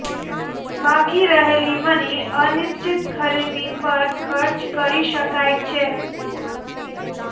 બાકી રહેલી મની અનિશ્ચિત ખરીદી પર ખર્ચ કરી શકાય છે